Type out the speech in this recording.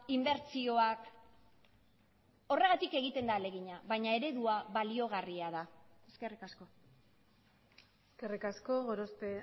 inbertsioak horregatik egiten da ahalegina baina eredua baliagarria da eskerrik asko eskerrik asko gorospe